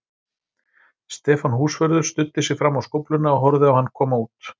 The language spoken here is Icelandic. Stefán húsvörður studdi sig fram á skófluna og horfði á hann koma út.